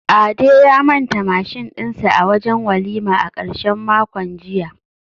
Ade ya manta mashin dinsa a wajen walima a karshen makon jiya